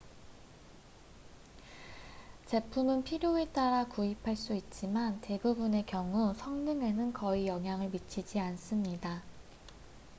제품은 필요에 따라 구입할 수 있지만 대부분의 경우 성능에는 거의 영향을 미치지 않습니다